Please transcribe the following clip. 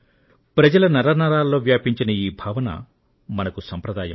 ప్రజల నరనరాల్లో వ్యాపించిన ఈ భావన మనకు సంప్రదాయం